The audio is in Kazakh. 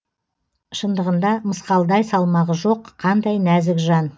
шындығында мысқалдай салмағы жоқ қандай нәзік жан